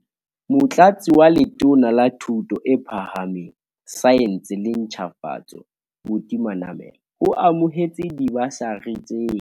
Motlatsi wa Letona la Thuto e Phahameng, Saense le Ntjhafatso, Buti Manamela, o amohetse dibasari tsena.